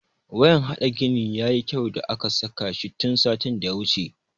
Wayan hade gini ya yi kyau da aka sa shi tun satin da ya wuce.